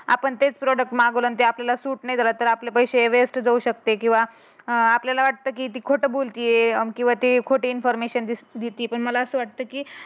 आपण तेच प्रॉडक्ट मागितलं आणि आपल्याला ते सुख नाही झालं तर आपले पैसे वेस्ट जाऊ शकते. किंवा अं आपल्याला वाटतं की ते खोटं बोलते किंवा खोटी इफॉर्मेशन देते. की मला अस वाटते की